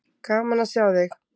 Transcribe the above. Gaman að sjá þig.